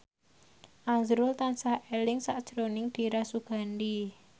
azrul tansah eling sakjroning Dira Sugandi